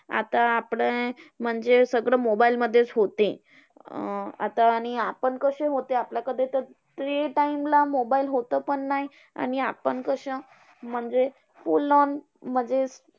आता आपलं अं म्हणजे सगळं mobile मधेच होते. अं आता आणि आपण कसे होते कि, आपल्याकडे तर ते time ला mobile होतं पण नाही. आणि आपण कसे म्हणजे school ला म्हणजे,